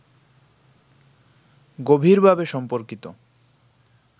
গভীরভাবে সম্পর্কিত